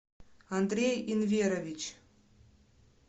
андрей инверович